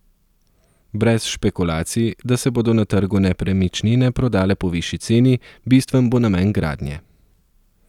Brez špekulacij, da se bodo na trgu nepremičnine prodale po višji ceni, bistven bo namen gradnje.